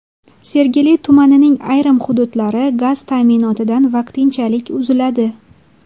Sergeli tumanining ayrim hududlari gaz ta’minotidan vaqtinchalik uziladi.